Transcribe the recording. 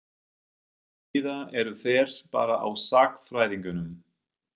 Eða eru þeir bara á sagnfræðingum?